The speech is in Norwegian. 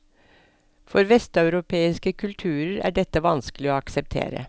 For vesteuropeiske kulturer er dette vanskelig å akseptere.